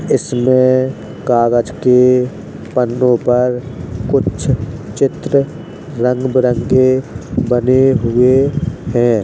इसमें कागज के पन्नों पर कुछ चित्र रंग-बिरंगे बने हुए हैं।